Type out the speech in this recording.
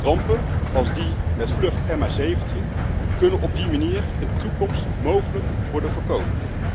Rampen als die met vlucht MH17 kunnen op die manier in de toekomst mogelijk worden voorkomen.